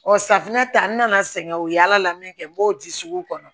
Ɔ safinɛ ta n nana sɛgɛn u ye yaala min kɛ n b'o di suguw kɔnɔ